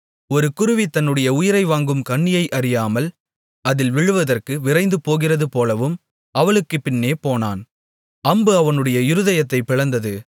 ஒரு குருவி தன்னுடைய உயிரை வாங்கும் கண்ணியை அறியாமல் அதில் விழுவதற்கு விரைந்து போகிறதுபோலவும் அவளுக்குப் பின்னே போனான் அம்பு அவனுடைய இருதயத்தைப் பிளந்தது